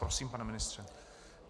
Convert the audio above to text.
Prosím, pane ministře.